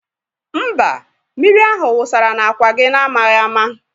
Mba, mmiri ahụ wụsara n'àkwà gị n'amaghị ama